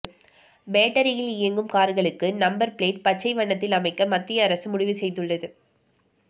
பேட்டரியில் இயங்கும் கார்களுக்கு நம்பர் பிளேட் பச்சை வண்ணத்தில் அமைக்க மத்திய அரசு முடிவுசெய்துள்ளது